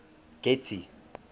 getty